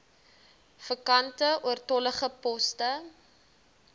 vakante oortollige poste